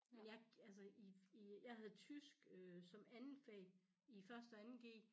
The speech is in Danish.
Men jeg altså i i jeg havde tysk øh som andet fag i første og 2. g